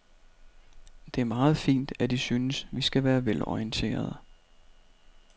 Det er meget fint, at I synes, vi skal være velorienterede.